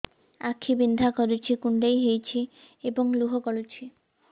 ଆଖି ବିନ୍ଧା କରୁଛି କୁଣ୍ଡେଇ ହେଉଛି ଏବଂ ଲୁହ ଗଳୁଛି